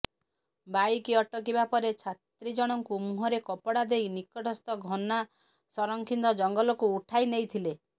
bike ଅଟକିବା ପରେ ଛାତ୍ରୀଜଣଙ୍କୁ ମୁହଁରେ କପଡ଼ା ଦେଇ ନିକଟସ୍ଥ ଘନା ସଂରକ୍ଷିତ ଜଙ୍ଗଲକୁ ଉଠାଇ ନେଇଥିଲେ